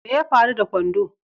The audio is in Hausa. Mai ya faru da kwando?